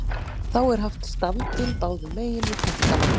Þá er haft stafbil báðum megin við punktana.